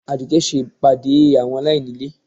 Adùké ṣe pàdé àwọn alaíní ilé